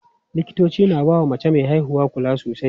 Likitoci na bawa mace me haihuwa kula sosai.